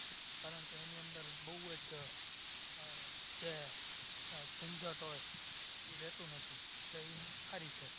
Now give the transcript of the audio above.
કારણકે એની અંદર બોવ જ આહ જે ઝંઝટ હોય ઇ રેહતું નથી એટલે ઇ સારી છે